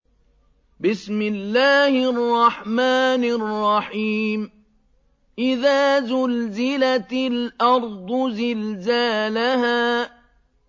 إِذَا زُلْزِلَتِ الْأَرْضُ زِلْزَالَهَا